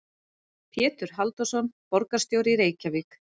Pétur Halldórsson, borgarstjóri í Reykjavík.